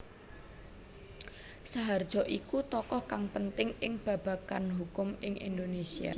Saharjo iku tokoh kang penting ing babagan hukum ing Indonésia